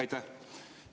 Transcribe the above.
Aitäh!